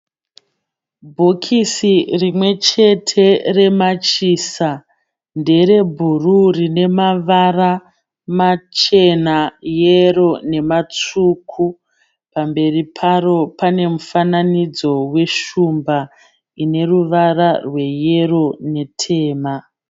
Bhokisi rimwe chete remachisa. Ndere bhuruu rine mavara machena, yero nematsvuku. Pamberi paro pane mufananidzo weshumba ine ruvara rweyero netema.